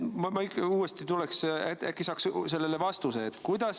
Ma ikka tuleks uuesti selle teema juurde, äkki saaks sellele vastuse.